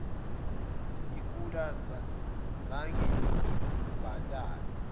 ikula zange lingibhatale